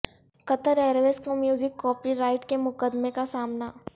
قطر Airways کو music copyright کے مقدمے کا سامنا